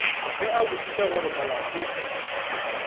ge a botšiša gore molato